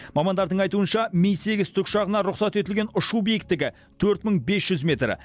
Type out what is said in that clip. мамандардың айтуынша ми сегіз тікұшағына рұқсат етілген ұшу биіктігі төрт мың бес жүз метр